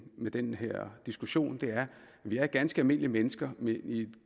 i den her diskussion at vi er ganske almindelige mennesker med et